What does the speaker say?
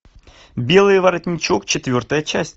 белый воротничок четвертая часть